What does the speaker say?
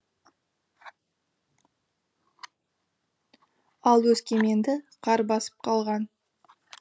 ал өскеменді қар басып қалған